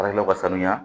Baarakɛlaw ka sanuya